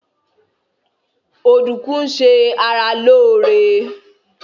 Ọdùkún ń ṣe ara lóóre